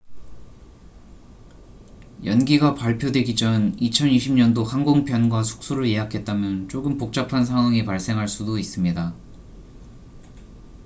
연기가 발표되기 전 2020년도 항공편과 숙소를 예약했다면 조금 복잡한 상황이 발생할 수 도 있습니다